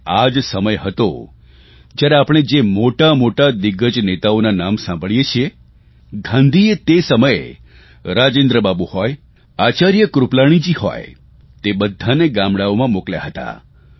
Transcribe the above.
અને આ જ સમય હતો જયારે આપણે જે મોટામોટા દિગ્ગજ નેતાઓના નામ સાંભળીએ છીએ ગાંધીએ તે સમયે રાજેન્દ્ર બાબુ હોય આચાર્ય કૃપલાણીજી હોય તે બધાને ગામડાઓમાં મોકલ્યા હતા